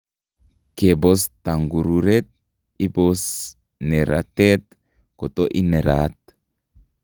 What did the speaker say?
Kebos tongururet iboos neratet koto ineraat